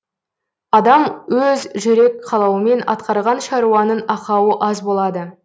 адам өз жүрек қалауымен атқарған шаруаның ақауы аз болады